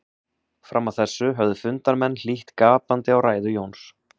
Fram að þessu höfðu fundarmenn hlýtt gapandi á ræðu Jóns.